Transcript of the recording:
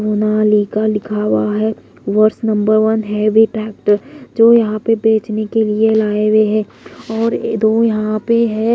मोनालिका लिखा हुआ है। वर्ष नंबर वन हैवी टैक्टर जो यहां पे बेचने के लिए लाएं हुए है और दो यहां पे है।